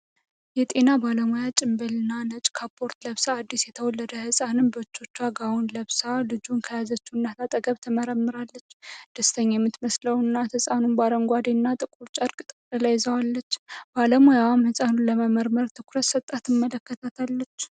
የጤና ባለሙያ ጭንብልና ነጭ ካፖርት ለብሳ፣ አዲስ የተወለደን ሕፃን በእጆቿ ጋውን ለብሳ ልጁን ከያዘች እናት አጠገብ ትመረምራለች። ደስተኛ የምትመስለው እናት ሕፃኑን በአረንጓዴና ጥቁር ጨርቅ ጠቅልላ ይዛዋለች፣ ባለሙያዋም ሕፃኑን ለመመርመር ትኩረት ሰጥታ ትመለከታለች።